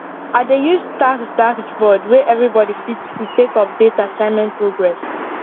i dey use task dashboard wey everybody fit see take update assignment progress